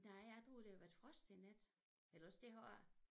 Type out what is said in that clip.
Nej jeg tror det har været frost i nat eller også det har ikke